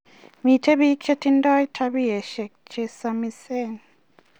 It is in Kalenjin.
Miten pik che tindo tabioshek che samis